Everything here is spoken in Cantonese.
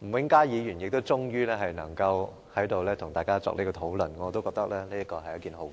吳永嘉議員也終於能夠在這裏跟大家討論。我覺得這是一件好事。